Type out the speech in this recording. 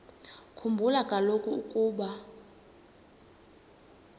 khumbula kaloku ukuba